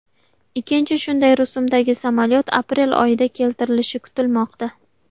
Ikkinchi shunday rusumdagi samolyot aprel oyida keltirilishi kutilmoqda.